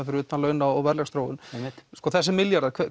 fyrir utan laun og verðlagsþróun einmitt þessir milljarðar